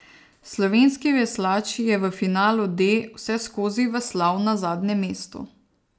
Slovenski veslač je v finalu D vseskozi veslal na zadnjem mestu.